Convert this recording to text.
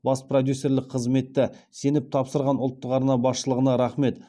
бас продюсерлік қызметті сеніп тапсырған ұлттық арна басшылығына рахмет